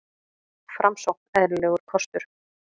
Framsókn eðlilegur kostur